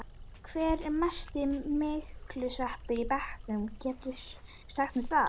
Hver er mesti myglusveppurinn í bekknum, geturðu sagt mér það?